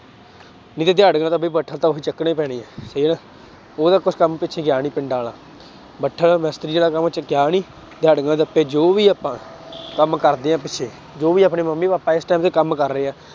ਨਹੀਂ ਤਾਂ ਦਿਹਾੜੀਆਂ ਤਾਂ ਵੀ ਉਹੀ ਚੱਕਣੇ ਪੈਣੇ ਆਂ ਉਹ ਤਾਂ ਕੁਛ ਕੰਮ ਪਿੱਛੇ ਗਿਆ ਨੀ ਪਿੰਡਾਂ ਵਾਲਾ, ਭੱਠੇ ਵਾਲਾ ਮਿਸਤਰੀ ਵਾਲਾ ਕੰਮ ਗਿਆ ਨੀ ਦਿਹਾੜੀਆਂ ਰੱਪੇ ਜੋ ਵੀ ਆਪਾਂ ਕੰਮ ਕਰਦੇ ਹਾਂ ਪਿੱਛੇ ਜੋ ਵੀ ਆਪਣੇ ਮੰਮੀ ਪਾਪਾ ਇਸ time ਤੇ ਕੰਮ ਕਰ ਰਹੇ ਆ,